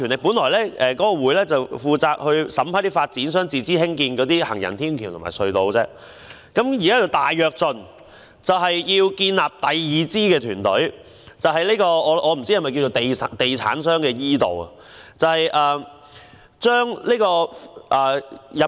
本來該委員會只負責審批發展商自資興建的行人天橋及隧道，現在則"大躍進"，建立第二支團隊，我不知道這是否地產商的 e- 道。